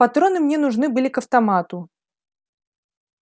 патроны мне нужны были к автомату